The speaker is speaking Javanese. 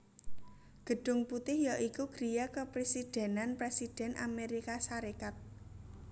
Gedhung Putih ya iku griya kepresidhènan Présidhèn Amérika Sarékat